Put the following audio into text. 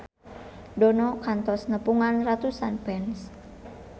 Dono kantos nepungan ratusan fans